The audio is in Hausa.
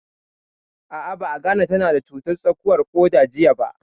A'a, ba a gane ta na da cutar tsakuwar ƙoda jiya ba